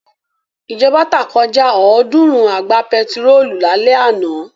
Ìjọba tá kọjá ọ̀ọ́dúnrún àgbá pẹtírólù lálẹ́ àná.